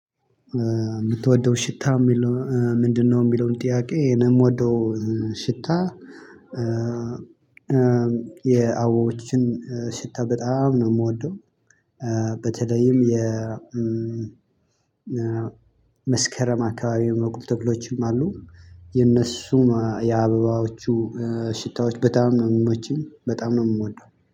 የምትወደው ሽታ የሚለው ምንድነው? የሚለውን ጥያቄ ነው የምወደው ሽታ። የአበቦችን ሽታ በጣም ነው የምወደው። በተለይም የ መስከረም አካባቢ ሚበቅሉ ተክሎችም አሉ። የነሱ የአበባዎቹ ሽታዎች በጣም ነው ሚመቹኝ በጣም ነው የምወደው